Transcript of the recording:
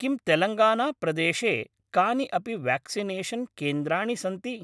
किं तेलङ्गानाप्रदेशे कानि अपि व्याक्सिनेषन् केन्द्राणि सन्ति?